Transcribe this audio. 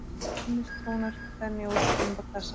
Kunnir tónar þenja út imbakassann.